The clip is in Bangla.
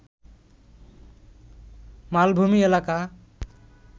মালভূমি এলাকা